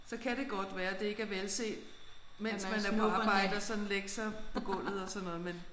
Så kan det godt være det ikke er velset mens man er på arbejde at sådan lægge sig på gulvet og sådan noget men